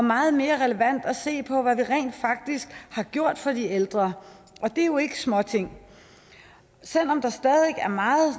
meget mere relevant at se på hvad vi rent faktisk har gjort for de ældre og det er jo ikke småting selv om der stadig er meget